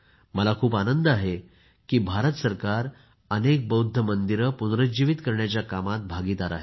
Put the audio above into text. मला खूप आनंद होत आहे की भारत सरकार अनेक बौद्ध मंदिरे पुनरुज्जीवीत करण्याच्या कामात भागीदार आहे